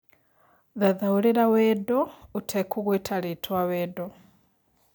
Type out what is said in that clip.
thathaũrĩra wendo ũtekũgweta rĩtwa wendo